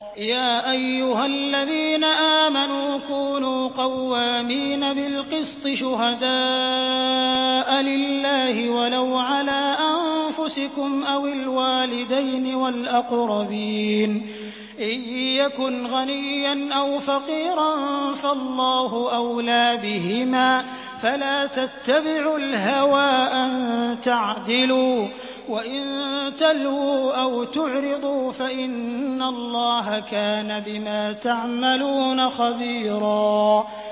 ۞ يَا أَيُّهَا الَّذِينَ آمَنُوا كُونُوا قَوَّامِينَ بِالْقِسْطِ شُهَدَاءَ لِلَّهِ وَلَوْ عَلَىٰ أَنفُسِكُمْ أَوِ الْوَالِدَيْنِ وَالْأَقْرَبِينَ ۚ إِن يَكُنْ غَنِيًّا أَوْ فَقِيرًا فَاللَّهُ أَوْلَىٰ بِهِمَا ۖ فَلَا تَتَّبِعُوا الْهَوَىٰ أَن تَعْدِلُوا ۚ وَإِن تَلْوُوا أَوْ تُعْرِضُوا فَإِنَّ اللَّهَ كَانَ بِمَا تَعْمَلُونَ خَبِيرًا